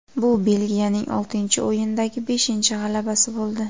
Bu Belgiyaning oltinchi o‘yindagi beshinchi g‘alabasi bo‘ldi.